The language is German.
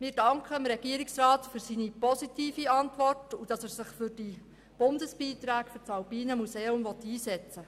Wir danken dem Regierungsrat für seine positive Antwort und dafür, dass er sich für die Bundesbeiträge für das Alpine Museum einsetzen will.